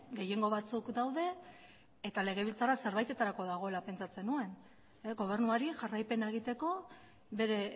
gehiengo batzuk daude eta legebiltzarra zerbaitetarako dagoela pentsatzen nuen gobernuari jarraipena egiteko bere